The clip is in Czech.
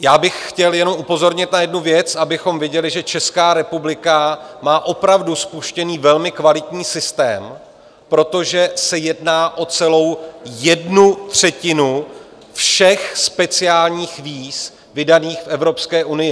Já bych chtěl jenom upozornit na jednu věc, abychom viděli, že Česká republika má opravdu spuštěný velmi kvalitní systém, protože se jedná o celou jednu třetinu všech speciálních víz vydaných v Evropské unii.